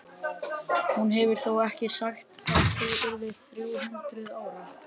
Hún hefur þó ekki sagt að þú yrðir þrjú hundruð ára?